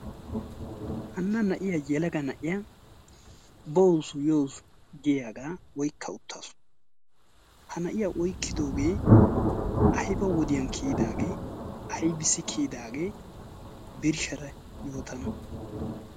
hanna na'iya yalaga na'iya boosu yoo giyaagaa oikka uttaasu ha na'iya oikkidoogee aiba wodiyan kiyidaagee aibissi kiyidaagee birshshara yootana?